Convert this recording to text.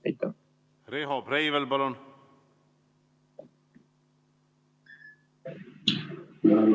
Riho Breivel, palun!